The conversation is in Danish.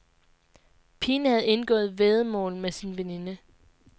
Pigen havde indgået væddemål med sin veninde.